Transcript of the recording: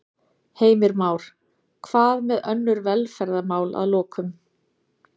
Heimir Már: Hvað með önnur velferðarmál að lokum?